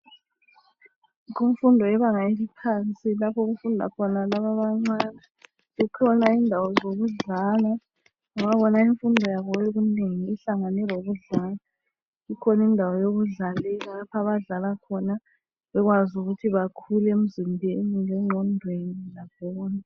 Kumfundo yebanga eliphansi lapho okufunda khona labo abancane ,zikhona indawo zokudlala ngoba eyabo imfundo yokunengi ihlangene lokudlala ikhona indawo yokudlalela lapho abadlalela khona bekwazi ukuthi bakhule emzimbeni lenqondweni lakho konke.